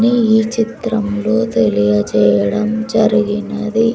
నీ ఈ చిత్రంలో తెలియజేయడం జరిగినది.